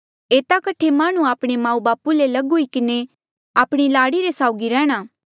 एता कठे माह्णुंआं आपणे माऊबापू ले लग हुई किन्हें आपणी लाड़ी रे साउगी रैहणां